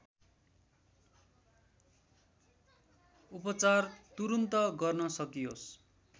उपचार तुरुन्त गर्न सकियोस्